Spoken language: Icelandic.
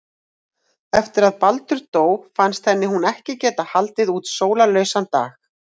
Eftir að Baldur dó fannst henni hún ekki geta haldið út sólarlausan dag.